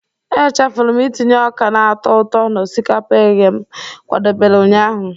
Echefuru m itinye ọka na-atọ ụtọ na osikapa eghe m kwadebere ụnyaahụ.